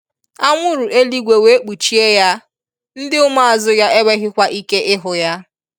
Anwụrụ eluigwe wee kpuchie Ya, ndi ụmụazụ ya enweghikwa ike ịhụ ya.